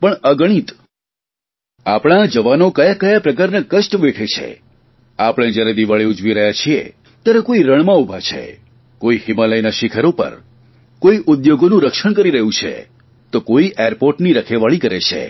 પણ અગણિત આપણા આ જવાનો કયાં કયાં પ્રકારનાં કષ્ટ વેઠે છે આપણે જયારે દિવાળીની ઉજવી રહ્યા છીએ ત્યારે કોઇ રણમાં ઉભા છે કોઇ હિમાલયના શીખરો પર કોઇ ઉદ્યોગોનું રક્ષણ કરી રહ્યું છે તો કોઇ એરપોર્ટની રખેવાળી કરે છે